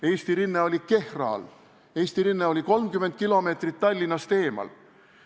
Eesti rinne oli Kehra all, Eesti rinne oli 30 km Tallinnast eemal.